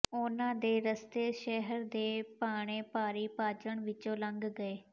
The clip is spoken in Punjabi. ਉਨ੍ਹਾਂ ਦੇ ਰਸਤੇ ਸ਼ਹਿਰ ਦੇ ਭਾਣੇ ਭਾਰੀ ਭਾਣਜ ਵਿੱਚੋਂ ਲੰਘ ਗਏ